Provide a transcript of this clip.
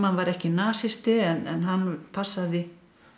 var ekki nasisti en hann passaði